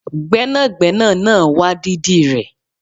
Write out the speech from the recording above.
Gbẹ́nàgbẹ́nà náà wá dídì rẹ